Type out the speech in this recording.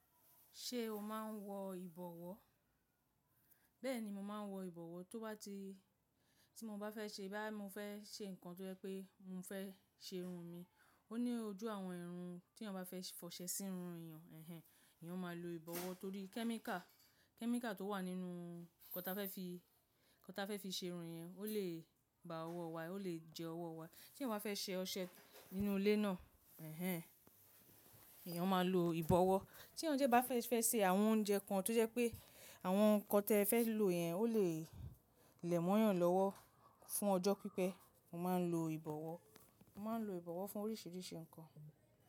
Ṣé o máa ń wọ ìbọ̀wọ́? Bẹ́ẹ̀ni, mo máa ń wọ ìbọ̀wọ́ tó bá ti, tí mo bá fẹ́ ṣe bá mo fẹ́ ṣe nǹkan tó jẹ́ pé mo fẹ́ ṣe irun mi. Ó ní ojú àwọn irun tí èèyàn ba fẹ́ fọṣẹ sí irun èèyàn, ẹ̀hen, èèyàn máa lo ìbọ̀wọ́ torí kẹ́míkà, kẹ́míkà tó wà nínú nkọan tá fẹ́ fi, nkọan tá fẹ́ fi ṣe irun yẹn ó lè ba ọwọ́ wa, ó lè jẹ ọwọ́ wa. Tí èèyàn bá fẹ́ ṣe ọṣẹ nínú ilé náà, ẹ̀hen, èèyàn máa lo ìbọ̀wọ́. Tí èèyàn jẹ́ bá fẹ́ ṣe àwọn oúnjẹ kan tó jẹ́ pé àwọn nǹkan tí ẹ fẹ́ lò yẹn ó lè lẹ̀ mọ́yàn lọ́wọ́ fún ọjọ́ pípẹ́, mo máa ń lo ìbọ̀wọ́. Mo máa ń lo ìbọ̀wọ́ fún oríṣìíríṣìí ǹkan.